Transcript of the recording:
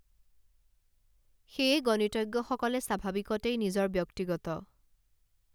সেয়ে গণিতজ্ঞসকলে স্বাভাৱিকতেই নিজৰ ব্যক্তিগত